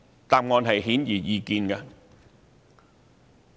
答案顯而易見。